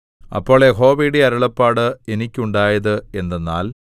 അപ്പോൾ യഹോവയുടെ അരുളപ്പാട് എനിക്കുണ്ടായത് എന്തെന്നാൽ